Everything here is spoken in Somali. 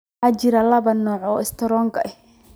Waxaa jira laba nooc oo istaroog ah.